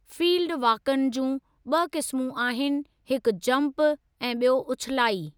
Field वाक़िअनि जा ॿि क़िस्मु आहिनि हिकु जंप ऐं ॿियों उछिलाई।